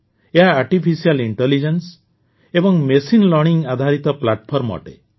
ଏହା ଆର୍ଟିଫିସିଆଲ୍ Intelligenceର ଏବଂ ମଶାଇନ୍ ଲର୍ଣ୍ଣିଂ ଆଧାରିତ ପ୍ଲାଟଫର୍ମ ଅଟେ